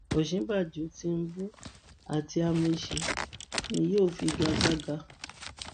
ọ̀ṣínbàjò tinúbú àti amaechi ni yóò figa gbága